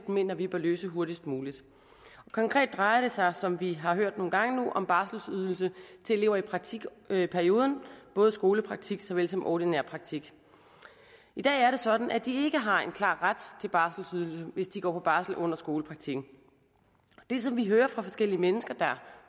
mener vi bør løse hurtigst muligt og konkret drejer det sig som vi har hørt nogle gange nu om barselsydelse til elever i praktikperioden både skolepraktik såvel som ordinær praktik i dag er det sådan at de ikke har en klar ret til barselsydelse hvis de går på barsel under skolepraktikken det som vi hører fra forskellige mennesker der